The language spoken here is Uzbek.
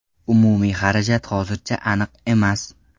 Umumiy xarajat hozircha aniq emas.